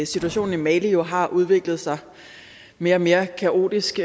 situationen i mali jo har udviklet sig mere og mere kaotisk